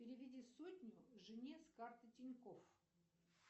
переведи сотню жене с карты тинькофф